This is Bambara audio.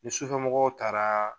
Ni sufɛmɔgɔw taara